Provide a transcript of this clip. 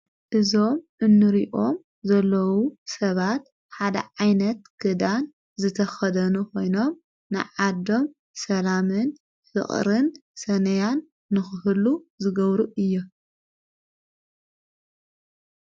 እዞም እኑርኦም ዘለዉ ሰባት ሓደ ዓይነት ግዳን ዘተኸደኑ ኾይኖም ንዓዶም ሰላምን ፍቕርን ሰነያን ንኽህሉ ዝገብሩ እየ።